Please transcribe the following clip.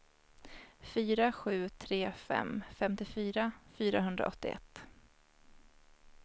fyra sju tre fem femtiofyra fyrahundraåttioett